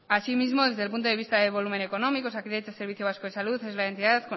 asimismo desde el punto de vista de volumen económico osakidetza servicio vasco de salud es la entidad